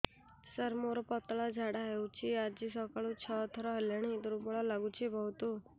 ସାର ମୋର ପତଳା ଝାଡା ହେଉଛି ଆଜି ସକାଳୁ ଛଅ ଥର ହେଲାଣି ଦୁର୍ବଳ ଲାଗୁଚି ବହୁତ